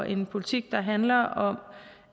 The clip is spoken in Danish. en politik der handler om